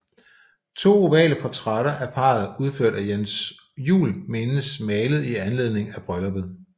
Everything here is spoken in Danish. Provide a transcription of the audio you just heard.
To ovale portrætter af parret udført af Jens Juel menes malet i anledning af brylluppet